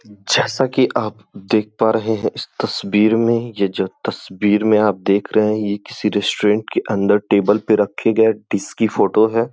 जैसा कि आप देख पा रहे हैं इस तस्वीर में यह जो तस्वीर में आप देख रहे हैं यह किसी रेस्टोरेंट के अंदर टेबल पर रखे गए डिस्क की फोटोज़ हैं।